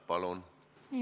Palun!